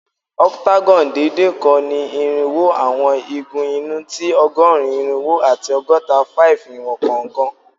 Octagon deede kan ni irinwo awọn igun inu ti ọgọrun irinwo ati ọgọta-5 iwọn kọọkan